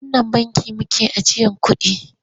A wannan bankin make ajiyar kuɗi?